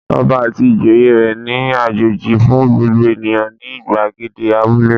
Ọba àti ìjòyè rẹ̀ ní àjọjẹ fún gbogbo ènìyàn ní ìgbàgede abúlé.